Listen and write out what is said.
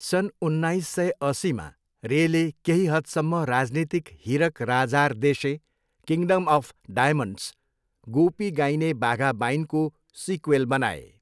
सन् उन्नाइस सय अस्सीमा, रेले केही हदसम्म राजनीतिक Hirak Rajar Deshe, Kingdom of Diamonds, Goopy Gyne Bagha बाइनको सिक्वेल बनाए।